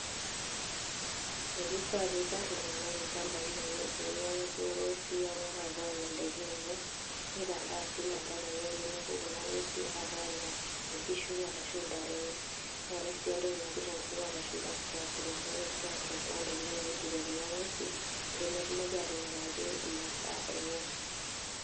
Kifaa piikar iltung'anak ilchambai lenye, pee mepuo ing'uesi e oang'ata anya indaiki enye, nikaraa sii imwatat enye pee mepuo kuna ing'uesi apuo anya inkiishu arashu intare enye. Neetai sii entoki naji tenkutu o lashumba ''scarecrow''. Ore scarecrow naa ntokitin naiturie kuna ing'uesi pee metumoki atinyikaki imasaa enye.